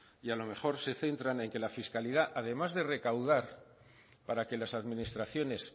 y a lo mejor se centran en que la fiscalidad además de recaudar para que las administraciones